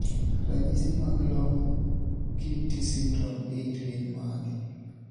ranyisi mag Long QT syndrome 8 gin mage?